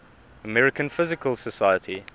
american physical society